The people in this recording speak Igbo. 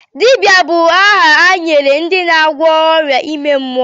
Dibia bụ aha e nyere ndị na-agwọ ọrịa ime mmụọ.